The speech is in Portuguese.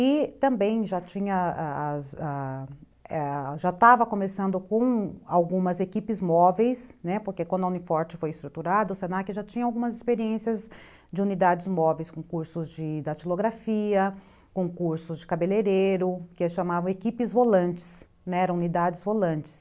E também já tinha, a as, já estava começando com algumas equipes móveis, né, porque quando a Uni Forte foi estruturada, o se na que já tinha algumas experiências de unidades móveis, com cursos de datilografia, com cursos de cabeleireiro, que eles chamavam equipes volantes, eram unidades volantes.